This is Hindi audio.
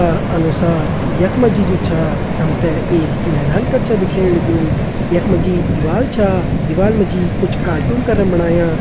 का अनुसार यख मा जी जु छा हम तें एक मैदान कर छ दिखेण लग्युं यख मा जी दिवाल छा दिवाल मा जी कुछ कार्टून करन बणाया।